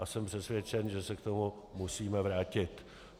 A jsem přesvědčen, že se k tomu musíme vrátit.